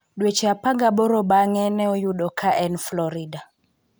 Dweche 18 banig'e, ni e oyude ka eni Florida.